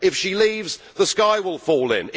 if she leaves, the sky will fall in.